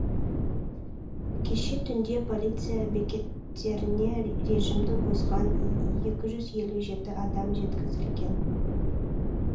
кеше түнде полиция бекеттеріне режимді бұзған екі жүз елу жеті адам жеткізілген